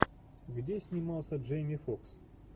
где снимался джейми фокс